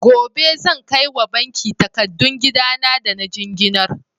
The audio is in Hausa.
Gobe zan kai wa banki takadun gidan da na jinginar?